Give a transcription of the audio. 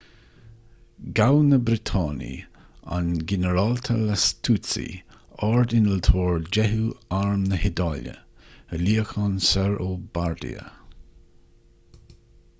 ghabh na briotanaigh an ginearálta lastucci ard-innealtóir deichiú arm na hiodáile i luíochán soir ó bardia